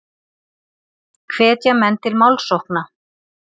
Hvetja menn til málsókna